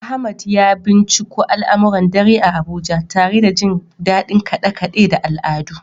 Ahmad ya binciko al’amuran dare a Abuja, tare da jin dadin kade-kade da al’adu.